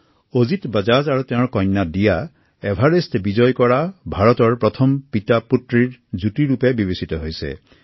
অজিত বাজাজ আৰু তেওঁৰ কন্যা এভাৰেষ্ট জয় কৰা প্ৰথম পিতৃকন্যা বিবেচিত হৈছে